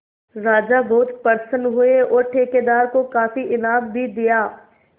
राजा बहुत प्रसन्न हुए और ठेकेदार को काफी इनाम भी दिया